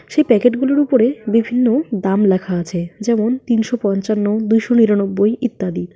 সেই প্যাকেট গুলোর উপরে বিভিন্ন দাম লেখা আছে। যেমন তিনশো পঞ্চান্ন দুশো নিরানব্বই ইত্যাদি।